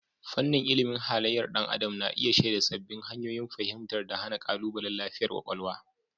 Fannin ilimin halayyar ɗan adam na iya shaida sabbin hanyoyin fahimtar da hana ƙalubalen lafiyar kwakwalwa.